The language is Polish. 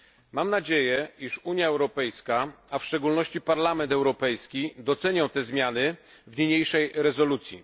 Mam nadzieję, iż Unia Europejska, a w szczególności Parlament Europejski, docenią te zmiany w niniejszej rezolucji.